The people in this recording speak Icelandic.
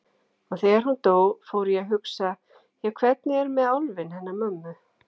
Og þegar hún dó fór ég að hugsa: Já, hvernig er með álfinn hennar mömmu?